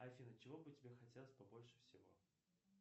афина чего бы тебе хотелось побольше всего